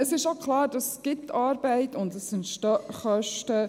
Klar ist auch, dass dies Arbeit verursacht und dass Kosten entstehen.